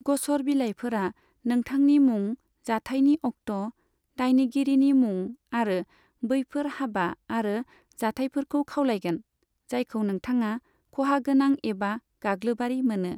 ग'सर बिलाइफोरा नोंथांनि मुं, जाथायनि अक्ट', दायनिगिरिनि मुं, आरो बैफोर हाबा आरो जाथायफोरखौ खावलायगोन, जायखौ नोंथाङा खहागोनां एबा गाग्लोबआरि मोनो।